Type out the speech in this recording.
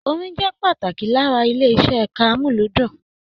Orin jẹ pàtàkì lára ilé iṣẹ ẹka amuludun.